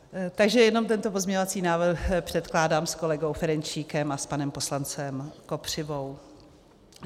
Takže jen tento pozměňovací návrh předkládám s kolegou Ferjenčíkem a s panem poslancem Kopřivou.